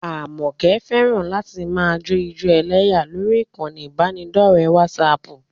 Àmọ̀kẹ́ fẹ́ràn láti máa jó ijó ẹlẹ́yà lórí ìkànnì ìbánidọ́ọ̀rẹ́ wásaaàpù